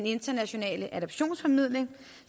internationale adoptionsformidling